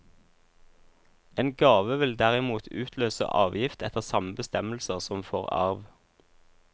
En gave vil derimot utløse avgift etter samme bestemmelser som for arv.